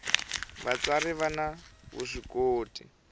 vatsari vani vuswikoti